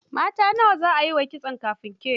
Mata nawa za a yi wa kitso kafin ke?